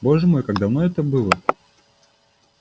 боже мой как давно это было